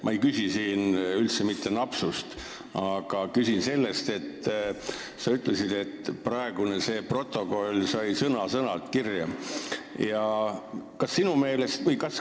Ma ei küsi siin üldse mitte napsude kohta, küsin sellega seoses, et sa ütlesid, et kõik sai sõna-sõnalt protokolli kirja.